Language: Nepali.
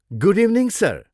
Good evening sir!